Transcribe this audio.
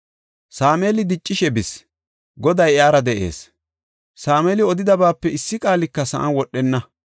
Sameeli diccishe bis; Goday iyara de7ees. Sameeli odidabaape issi qaalika sa7an wodhenna.